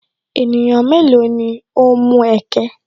Ènìyàn mélòó ni o ń mú ẹ̀kẹ̀?